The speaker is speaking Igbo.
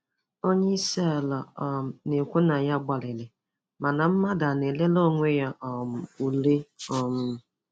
Onyeisi ala um na-ekwu na ya gbalịrị, mana mmadụ a na-elele onwe ya um ule? um